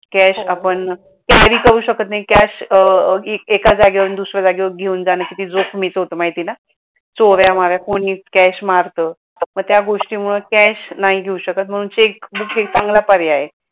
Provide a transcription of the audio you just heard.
cash आपण carry करू शकत नाही cash एका जागेवरून दुसऱ्या जागेवर घेऊन जान किती जोखमीच होतं माहिती आहे का? चोऱ्या माऱ्या कोणी cash मारत, आपण त्या गोष्टीमुळे cash नाही घेऊ शकत म्हणून checkbook हे चांगला पर्याय आहे.